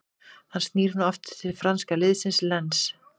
Hann snýr nú aftur til franska liðsins Lens.